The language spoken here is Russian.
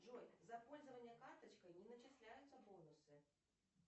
джой за пользование карточкой не начисляются бонусы